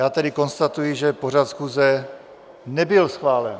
Já tedy konstatuji, že pořad schůze nebyl schválen.